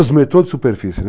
Os metrôs de superfície, né.